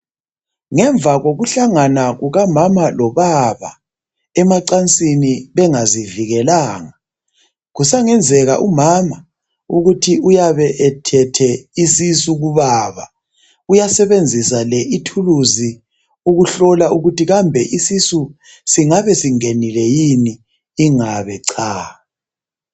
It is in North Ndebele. Ngemva kokuhlanga kukamama lobaba emacansini bengazivikelanga, kusangenzeka umama ukuthi uyabe ethethe isisu kubaba. Uyasebenzisa le ithuluzi ukuhlola ukuthi kambe isisu singabe singenile yini ingabe cha.